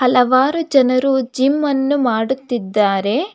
ಹಲವಾರು ಜನರು ಜಿಮ್ ಅನ್ನು ಮಾಡುತ್ತಿದ್ದಾರೆ.